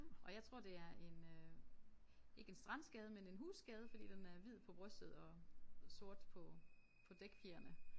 Og jeg tror det er en øh ikke en strandskade men en husskade fordi den er hvid på brystet og sort på på dækfjerene